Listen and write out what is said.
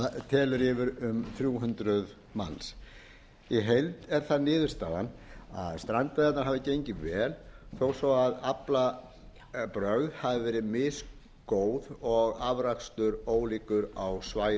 telur yfir um þrjú hundruð manns í heild er það niðurstaðan að strandveiðarnar hafi gengið vel þó svo aflabrögð hafi verið misgóð og afrakstur ólíkur á svæðunum